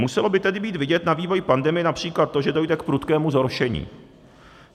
Muselo by tedy být vidět na vývoji pandemie například to, že dojde k prudkému zhoršení.